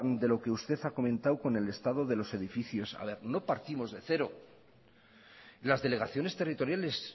de lo que usted ha comentado con el estado de los edificios no partimos de cero las delegaciones territoriales